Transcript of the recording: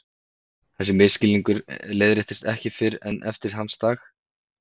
Þessi misskilningur leiðréttist ekki fyrr en eftir hans dag.